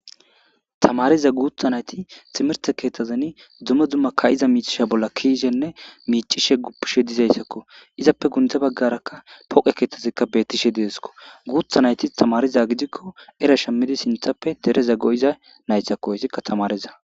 Tamariza guutha nayti timerte keetazeni dumme dumma ka'iza miichishe bolla kiishenne miicishe guppishe dizaysakko izappe gunde baggarakka poqe keetazikka bettishe dideskko guutha nayti tamariza gidikko era shammidi sinthappe dereza go7iza naysthakkohyssikka tamariza.